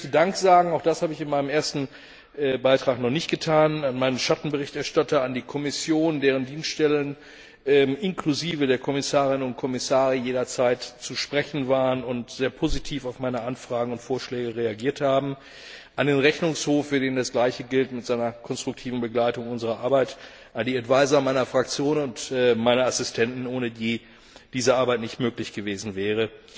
Ferner möchte ich Dank sagen auch das habe ich in meinem ersten Beitrag noch nicht getan meinem Schattenberichterstatter, der Kommission, deren Dienststellen inklusive der Kommissarinnen und Kommissare, die jederzeit zu sprechen waren und sehr positiv auf meine Anfragen und Vorschläge reagiert haben, dem Rechnungshof, für den das Gleiche gilt mit seiner konstruktiven Begleitung unserer Arbeit, den Beratern in meiner Fraktion und meinen Assistenten, ohne die diese Arbeit nicht möglich gewesen wäre,